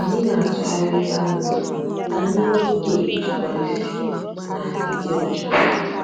Anyị na-atụgharị ebe anụmanụ ka anyị nwee ike ijikwa isi na ịdị ọcha.